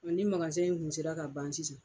Ɔn ni in kun sela ka ban sisan